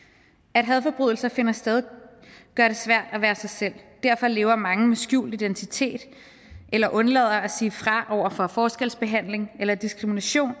at hadforbrydelser finder sted gør det svært at være sig selv derfor lever mange med skjult identitet eller undlader at sige fra over for forskelsbehandling eller diskrimination